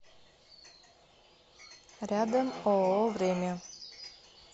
рядом ооо время